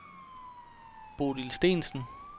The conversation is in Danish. Bodil Steensen